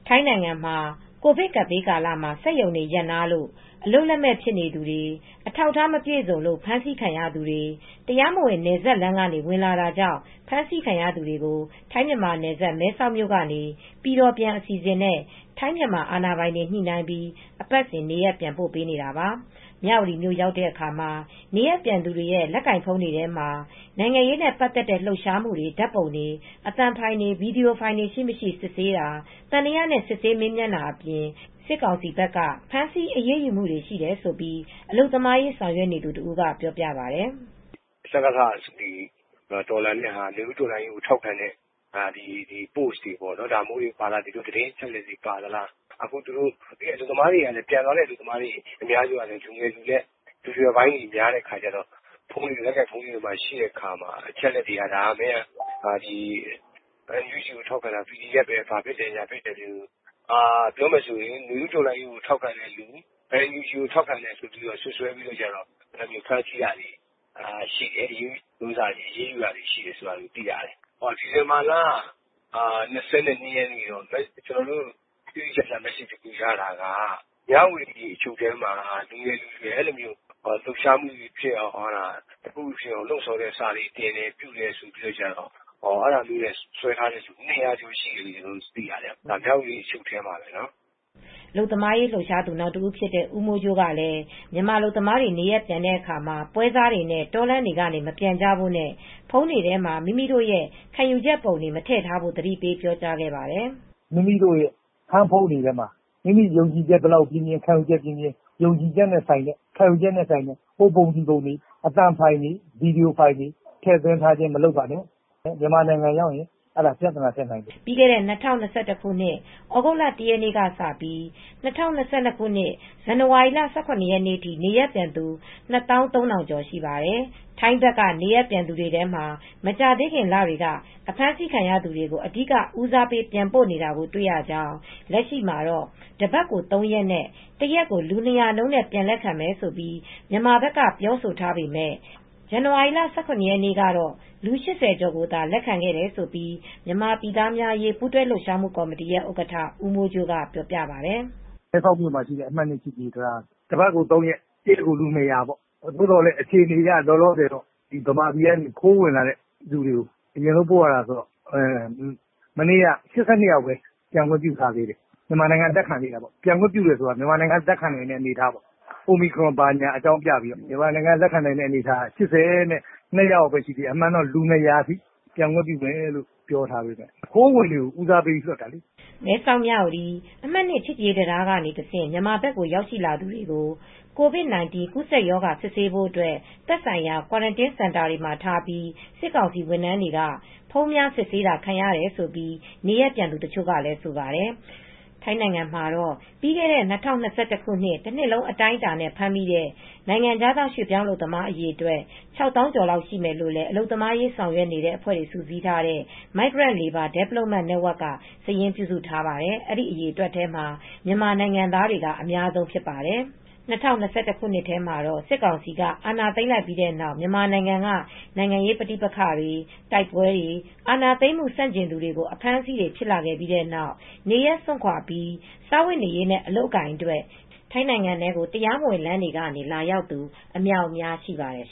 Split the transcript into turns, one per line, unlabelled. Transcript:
ထိုင်းနိုင်ငံမှာ ကိုဗစ်ကပ်ဘေးကာလမှ ာစက်ရုံတွေရပ်နားလို့ အလုပ်လက်မဲ့ဖြစ်နေသူတွေ အထောက်အထားမပြည့်စုံလို့ ဖမ်းဆီးခံရသူတွေ တရားမဝင်နယ်စပ်လမ်းတွေကနေ ဝင်လာတာကြောင့် ဖမ်းဆီးခံရသူတွေကို ထိုင်းမြန်မာနယ်စပ်မဲဆောက်မြို့ကနေ ပြည်တော်ပြန် အစီစဉ်နဲ့ ထိုင်းမြန်မာအာဏာပိုင်တွေ ညှိနိုှင်းပြီး အပတ်စဉ်နေရပ်ပြန်ပို့နေတာပါ ။ မြဝတီမြို့ရောက်တဲ့ အခါမှာ နေရပ်ပြန်သူတွေရဲ့လက်ကိုင်ဖုန်းတွေထဲမှာ နိုင်ငံရေးနဲ့ ပတ်သက်တဲ့လှုပ်ရှားမူ ဓါတ်ပုံတွေ အသံဖိုင်တွေ ဗိွီဒီယိုဖိုင်တွေရှိမရှိ စစ်ဆေးတာ သံသယနဲ့ စစ်ဆေးမေးမြန်းတာတွေ အပြင် စစ်ကောင်စီဘက်က ဖမ်းဆီးအရေးယူမူရှိတယ်လို့ အလုပ်သမားရေးဆောင်ရွက်နေသူတဦးကပြောပြပါတယ်။
"စကစ(စစ်ကောင်စီ)ကိုတော်လှန်နေတဲ့ဟာတွေ နွေဦးတော်လှန်ရေးကိုထောက်ခံတဲ့ပိုစ့်တွေ ဒါမျိုးတွေပါသလား။ ဒီသတင်းအချက်အလက်တွေပါသလား။ပြန်လာတဲ့အလုပ်သမားတွေအများစုတွေလည်း လူငယ်လူရွယ်လူလတ်ပိုင်းတွေများတော့ လက်ကိုင်ဖုန်းတွေရှိတော့မင်းကNUG ကိုထောက်ခံတာ PDF တွေပဲ " ပြောရမယ်ဆိုရင် နွေဦးတော်လှန်ရေးကိုထောက်ခံရင် NUG ကိုထောက်ခံတယ်ဆိုပြီးစွတ်စွဲပြီး အဖမ်းခံရတာအရေးယူတာတွေရှိတယ်လို့သိရတယ် ။ ဒီဇင်ဘာလ၂၂ရက်တုံးက ကျနော်တို့တိတိကျကျ မက်ဆေ့စ်တခုရတာကတော့ လူငယ်လူရွယ်တွေကတခုခုဖြစ်အောင် လှုပ်ရှားမူဖြစ်အောင် လှုံဆော်တဲ့စာတွေတင်တယ်ဆိုပြီးစွဲထားတဲ့ လူ၂၀၀ကျော်ရှိတယ်လို့သိရတယ်မြဝတီအချုပ်ထဲမှာနော် "
အလုပ်သမားရေး လှုပ်ရှားသူနောက်တဦးဖြစ်တဲ့ ဦးမိုးကြိုးကလည်း မြန်မာအလုပ်သမားတွေနေရပ်ပြန်တဲ့အခါမှာ ပွဲစားတွေနဲ့တောလမ်းတွေကနေ မပြန်ကြဖို့နဲ့ ဖုန်းတွေထဲမှာ မိမိတို့ရဲ့ခံယူချက်ပုံတွေ မထည့်ထားဖို့သတိပေးပြောကြားခဲ့ပါတယ်
။ "မိမိတို့ရဲ့ဟန်းဖုန်းတွေထဲမှာ မိမိတို့ခံယူချက် ဘယ်လောက်ပြင်းပြင်း မိမိခံယူချက်နဲ့ ဆိုင်တဲ့ဟိုပုံဒီပုံတွေ အသံဖိုင်တွေ ဗွီဒီယိုဖိုင်တွေ ထည့်သွင်းမထားပါနဲ့ ။ မြန်မာနိုင်ငံရောက်ရင်ပြသနာတက်နိုင်ပါတယ် " ပ
ြီးခဲ့တဲ့၂၀၂၁ခုနှစ်သြဂုတ်လ၁ရက်နေ့ကစပြီး ၂၀၂၂ခုနှစ် ဇန်နဝါရီလ ၁၇ရက်နေ့ထိ နေရပ်ပြန်သူ ၂၃၀၀၀ေ ကျာ်ရှိပါတယ်။ ထိုင်းဘက်ကနေရပ်ပြန်သူတွေထဲမှာ မကြာသေးခင်လတွေကအဖမ်းဆီးခံရသူတွေကို အဓီကဦးစားပေးပြန်ပို့နေတာတွေတွေ့ရကြောင်း လက်ရှိမှာတော့ တပတ်ကို ၃ရက်နဲ တရက်ကိုလူ၂၀၀နှုန်းနဲ့ပြန်လက်ခံမယ်လို့ မြန်မာဘက်က ပြောဆိုထားပေမယ့် ဇန်နဝါရီလ၁၇ရက်နေ့ကတော့ လူ၈၀ကျော်ကိုသာ လက်ခံခဲ့တယ်လို့လည်း မြန်မာပြည်သားများအရေးပူးတွဲလှုပ်ရှားမူ့ကော်မတီရဲ့ ဥက္ကဌ ဦးမိုးကြိုးကပြောပြပါတယ်။
"မဲဆောက်မြို့မှာရှိတဲ့ ချစ်ကြည်ရေးတံတားကနေ တပတ်ကို ၃ရက် တရက်ကို လူ၂၀၀ပေါ့ ။ အခြေအနေအရ မြန်မာပြည်က ခိုးဝင်လာသူတွေကိုပဲ အရင်ပို့ရတာကတော့ မနေ့က ၈၂ယောက်ပဲပြန်ရသေးတယ်။ ပြန်ခွင့်ပြုတာကမြန်မာနိုင်ငံကလက်ခံနိုင်တဲ့အနေအထားပေါ့ omicron ကြောင့်ဆိုပြီး။အကြောင်းပြပြီးတော့။အမှန်ကတော့လူ၂၀၀ထိပြန်ခွင့်ပြုမယ်လို့ပြောထားတယ်။ခိုးဝင်တွေကိုဦးစားပေးပြီးလွှတ်တာလေ
" မဲဆောက်- မြဝတီ အမှတ် (၂) ချစ်ကြည်ရေး တံတားကနေ တဆင့် မြန်မာဘက်ကို ရောက်ရှိလာသူတွေကို COVID -19 ကူးစက်ရောဂါ စစ်ဆေးဖို့အတွက် သက်ဆိုင်ရာ ကွာရန်တင်း စင်တာတွေမှာထားပြီးစစ်ကောင်စီ ဝန်ထမ်းများကဖုန်းများ စစ်ဆေးတာ ခံရတယ်လို့ နေရပ်ပြန်သူတချို့ကလည်းဆိုပါတယ်။ ထိုင်းနိုင်ငံမှာတော့ ပြီးခဲ့တဲ့ ၂၀၂၁ တနှစ်လုံးအတိုင်းအတာနဲ့ ဖမ်းမိတဲ့ နိုင်ငံခြားရွှေပြောင်း အလုပ်သမားအရေအတွက် ၆ သောင်းကျော်လောက်ရှိမယ်လို့လည်း အလုပ်သမားရေးဆောင်ရွက်နေတဲ့ အဖွဲ့တွေစုပေါင်းထားတဲ့ Migrant Labour Development Network ကစာရင်း ပြုစုထားပါတယ်။ အဲဒီအရေအတွက်မှာ မြန်မာနိုင်ငံသားတွေက အများဆုံးဖြစ်ပါတယ်။ ၂၀၂၁ ခုနှစ်ထဲမှာတော့ စစ်ကောင်စီက အာဏာသိမ်းခဲ့ပြီးတဲ့နောက် မြန်မာနိုင်ငံက နိုင်ငံရေးပဋိပက္ခတွေတိုက်ပွဲတွေ အာဏာသိမ်းမှု ဆန့်ကျင်သူတွေကို အဖမ်းအဆီးတွေဖြစ်လာခဲ့ပြီးနောက် နေရပ်စွန့်ခွါပြီး စားဝတ်နေရေးနဲ့ အလုပ်အကိုင်တွေအတွက်ထိုင်းနိုင်ငံထဲကို တရားမဝင်လမ်းကနေ လာရောက်သူ အမြောက်အများရှိပါတယ်